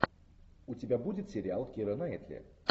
у тебя будет сериал кира найтли